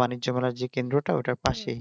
বাণিজ্যকলার যে ক্রেন্দ্রতা ঐটার পাশেই